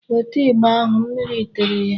Weta ịgba ahụ. Mmiri tere ya.